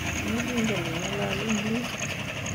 tos ingen ingalal English?